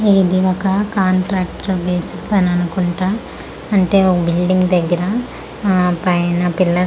ఇది ఒక contractor basic పని అనుకుంటా అంటే ఓ బిల్డింగ్ దగ్గిర ఆ పైన పిల్లర్స్ .